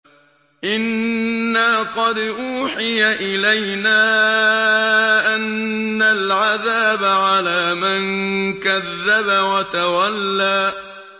إِنَّا قَدْ أُوحِيَ إِلَيْنَا أَنَّ الْعَذَابَ عَلَىٰ مَن كَذَّبَ وَتَوَلَّىٰ